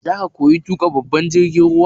Zaka koyi tuƙa babban jirgin ruwa?